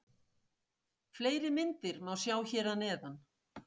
Fleiri myndir má sjá hér að neðan.